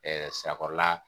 Sirakɔrɔla